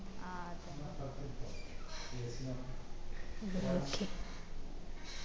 ആ അതതേ